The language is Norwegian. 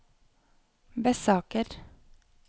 Bessaker